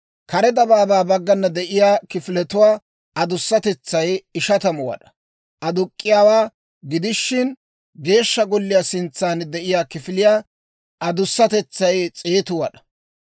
Kare dabaabaa baggana de'iyaa kifiletuwaa adusatetsay 50 wad'aa aduk'k'iyaawaa gidishin Geeshsha golliyaa sintsan de'iyaa kifiliyaa adusatetsay 100 wad'aa.